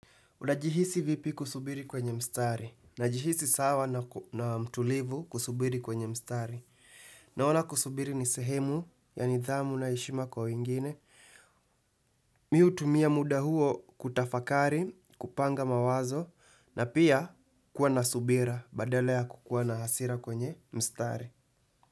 Unajihisi vipi kusubiri kwenye mstari, najihisi sawa na mtulivu kusubiri kwenye mstari. Naona kusubiri ni sehemu, ya nidhamu na heshima kwa wengine. Mi hutumia muda huo kutafakari, kupanga mawazo, na pia kuwa na subira, badala ya kukuwa na hasira kwenye mstari.